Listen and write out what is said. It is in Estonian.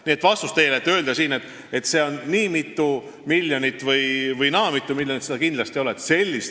Nii et vastus teile on see: öelda siin, et see on nii mitu või naa mitu miljonit, kindlasti ei saa.